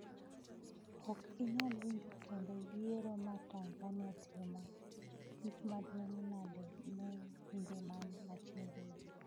Ok inyal winjo kendo yiero ma Tanzania timo, en gima duong’ nade ne pinje man machiegni?